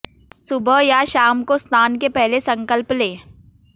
सुबह या शाम को स्नान के पहले संकल्प लें